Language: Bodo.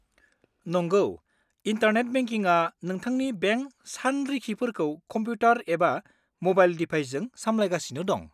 नंगौ, इन्टारनेट बेंकिंआ नोंथांनि बेंक सानरिखिफोरखौ कमप्युटार एबा म'बाइल दिभाइसजों सामलायगासिनो दं।